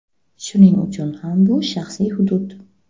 Shuning uchun ham bu shaxsiy hudud.